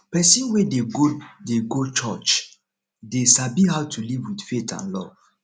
pesin wey dey go dey go church dey sabi how to live with faith and love